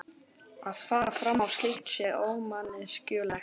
Að fara fram á slíkt sé ómanneskjulegt.